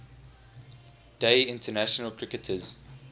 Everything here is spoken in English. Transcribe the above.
day international cricketers